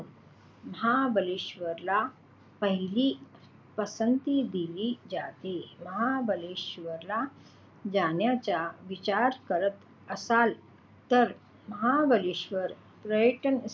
महाबळेश्वरला पहिली पसंती दिली जाते. महाबळेश्वरला जाण्याचा विचार करत असाल तर महाबळेश्वर पर्यटन.